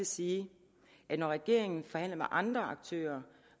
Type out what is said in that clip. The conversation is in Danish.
sige at når regeringen forhandler med andre aktører